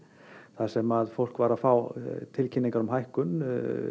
þar sem að fólk var að fá tilkynningar um hækkun